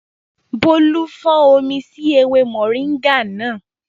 Bólú fọ́n omi sí ewé mọ̀ríńgà náà